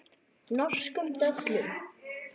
Norskum döllum.